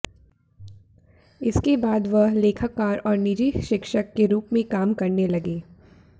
इसके बाद वह लेखाकार और निजी शिक्षक के रूप में काम करने लगे